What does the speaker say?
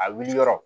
A wuli yɔrɔ